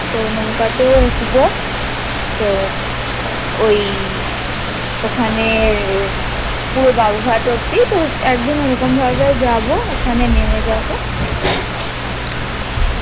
তো নৌকাতেও উঠবো তো ওই ওখানে পুরো বাবুঘাট অবধি একদিন ঐরকম ভাবে যাবো ওখানে নেমে যাবো